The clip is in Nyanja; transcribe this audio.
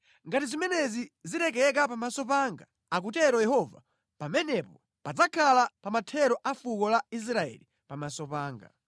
Ngati zimenezi zilekeka pamaso panga, akutero Yehova, pamenepo padzakhala pamathero a fuko la Israeli pamaso panga.